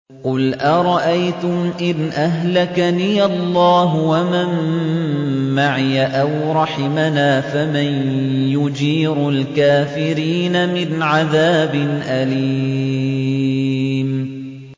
قُلْ أَرَأَيْتُمْ إِنْ أَهْلَكَنِيَ اللَّهُ وَمَن مَّعِيَ أَوْ رَحِمَنَا فَمَن يُجِيرُ الْكَافِرِينَ مِنْ عَذَابٍ أَلِيمٍ